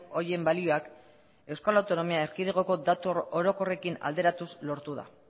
horien balioak euskal autonomia erkidegoko datu orokorrekin alderatuz lortu da